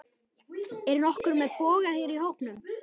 Er nokkur með boga hér í hópnum?